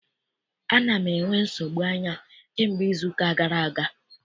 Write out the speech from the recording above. Ana m enwe nsogbu anya kamgbe izuụka gara aga.